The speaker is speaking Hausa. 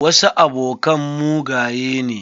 Wasu abokan mugaye ne.